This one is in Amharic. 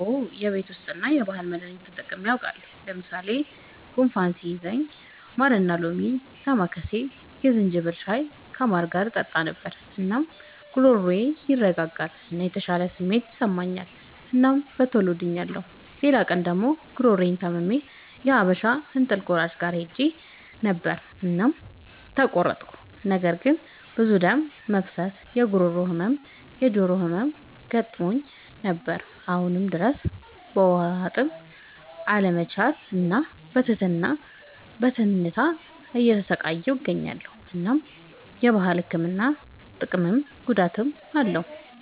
አዎ የቤት ዉስጥ እና የባህል መዳኒቶች ተጠቅሜ አዉቃለሁ። ለምሳሌ፦ ጉንፋን ሲይዘኝ ማርና ሎሚ፣ ዳማከሴ፣ የዝንጅብል ሻይ ከማር ጋር እጠጣ ነበር። እናም ጉሮሮዬን ያረጋጋል እና የተሻለ ስሜት ይሰጠኛል እናም በቶሎ ድኛለሁ። ሌላ ቀን ደግሞ ጉሮሮየን ታምሜ የሀበሻ እንጥል ቆራጭ ጋር ሄጀ ነበር እናም ተቆረጥኩ። ነገር ግን ብዙ ደም መፍሰስ፣ የጉሮሮ ህመም፣ የጆሮ ህመም ገጥሞኝ ነበር። አሁንም ድረስ በዉሀጥም አለመቻል እና በትንታ እየተሰቃየሁ እገኛለሁ። እናም የባህል ህክምና ጥቅምም ጉዳትም አለዉ።